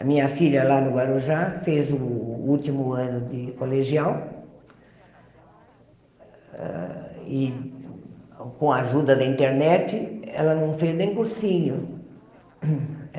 A minha filha lá no Guarujá fez o último ano de colegial e, com a ajuda da internet, ela não fez nem cursinho.